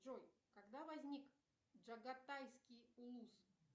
джой когда возник джагатайский улус